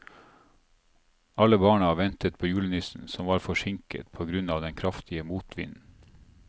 Alle barna ventet på julenissen, som var forsinket på grunn av den kraftige motvinden.